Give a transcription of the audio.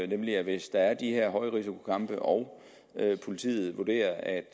nemlig at hvis der er de her højrisikokampe og politiet vurderer at